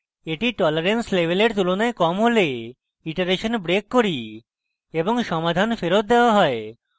এটি tolerance level এর তুলনায় কম হলে আমরা iteration break করি এবং সমাধান ফেরৎ দেওয়া হয়